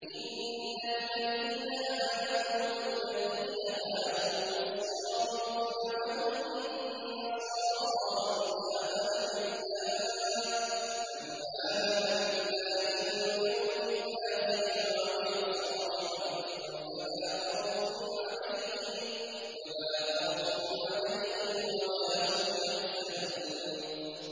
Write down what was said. إِنَّ الَّذِينَ آمَنُوا وَالَّذِينَ هَادُوا وَالصَّابِئُونَ وَالنَّصَارَىٰ مَنْ آمَنَ بِاللَّهِ وَالْيَوْمِ الْآخِرِ وَعَمِلَ صَالِحًا فَلَا خَوْفٌ عَلَيْهِمْ وَلَا هُمْ يَحْزَنُونَ